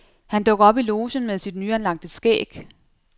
Han dukker op i logen med sit nyanlagte skæg.